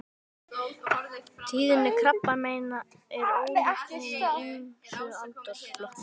Tíðni krabbameina er ólík í hinum ýmsu aldursflokkum.